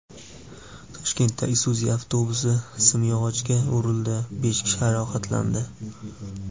Toshkentda Isuzu avtobusi simyog‘ochga urildi, besh kishi jarohatlandi.